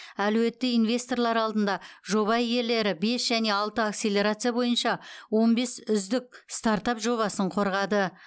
әлеуетті инвесторлар алдында жоба иелері бес және алты акселерация бойынша он бес үздік стартап жобасын қорғады